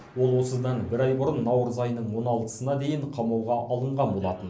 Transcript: ол осыдан бір ай бұрын наурыз айының он алтысына дейін қамауға алынған болатын